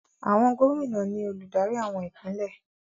Àwọn gómìnà ni olùdarí àwọn ìpínlẹ̀.